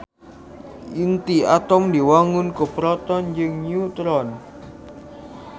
Inti atom diwangun ku proton jeung neutron